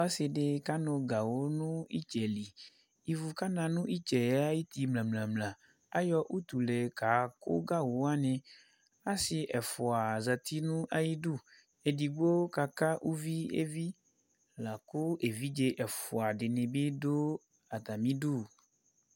Ɔsɩ dɩ kanʋ gawʋ nʋ ɩtsɛ li Ivu kana nʋ ɩtsɛ yɛ ayuti mlǝ-mlǝ Ayɔ utule kakʋ gawʋ wanɩ Asɩ ɛfʋa zati nʋ ayidu Edigbo kaka uvi evi la kʋ evidze ɛfʋa dɩnɩ bɩ dʋ atamidu